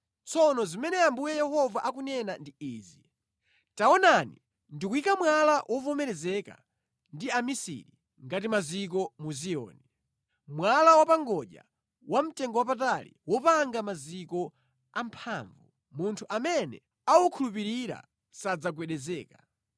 Tsono zimene Ambuye Yehova akunena ndi izi: “Taonani, ndikuyika mwala wovomerezeka ndi amisiri ngati maziko mu Ziyoni, mwala wapangodya, wamtengowapatali wopanga maziko amphamvu; munthu amene awukhulupirira sadzagwedezeka.